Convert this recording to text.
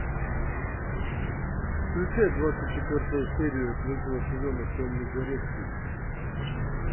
включай двадцать четвертую серию третьего сезона темный дворецкий